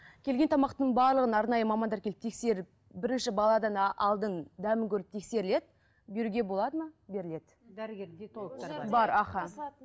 келген тамақтың барлығын арнайы мамандар келіп тексеріп бірінші баладан алдын дәмін көріп тексеріледі беруге болады ма беріледі